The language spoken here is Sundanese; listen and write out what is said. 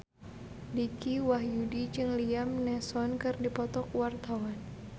Dicky Wahyudi jeung Liam Neeson keur dipoto ku wartawan